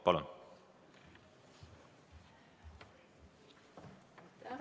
Palun!